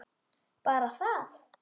Bara það?